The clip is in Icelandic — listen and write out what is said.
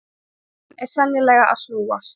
Áttin er sennilega að snúast.